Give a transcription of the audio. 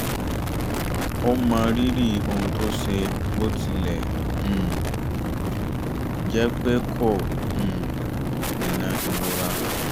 ó mọrírì ohun tó ṣe bó tilẹ̀ um jẹ́ pé kò um dènà ìrora